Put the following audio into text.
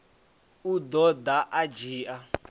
u ḓo ḓa a ndzhia